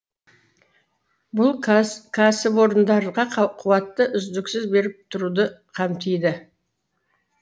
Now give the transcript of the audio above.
бұл кәсіпорындарға қуатты үздіксіз беріп тұруды қамтиды